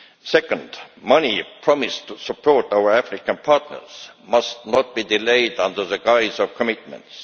Secondly, money promised to support our African partners must not be delayed under the guise of commitments.